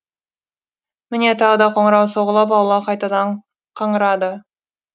міне тағы да қоңырау соғылып аула қайтадан қаңырады